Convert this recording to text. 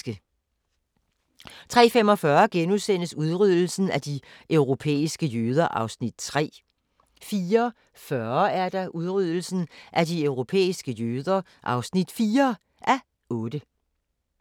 03:45: Udryddelsen af de europæiske jøder (3:8)* 04:40: Udryddelsen af de europæiske jøder (4:8)